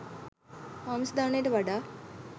ආමිස දානයට වඩා